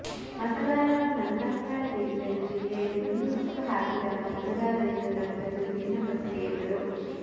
ಮತದಾರರ ಮನದಂಗಳ ತಿಳಿಯಲು ಜಿಲ್ಲೆಯಲ್ಲಿ ಒಂದುಸುತ್ತು ಹಾಕಿದಾಗ ಮತದಾರರಿಂದ ದೊರೆತದ್ದು ವಿಭಿನ್ನ ಪ್ರಕ್ರಿಯೆಗಳು